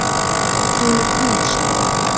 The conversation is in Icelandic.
Hún er hundsleg.